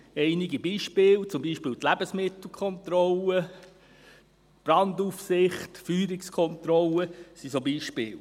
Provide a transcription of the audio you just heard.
Einige Beispiele: Die Lebensmittelkontrolle, die Brandaufsicht, die Feuerungskontrolle sind solche Beispiele.